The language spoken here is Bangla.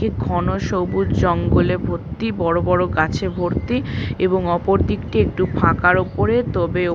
কি ঘন সবুজ জঙ্গলে ভর্তি বড় বড় গাছে ভর্তি এবং অপরদিকটি একটু ফাঁকার ওপরে। তবে --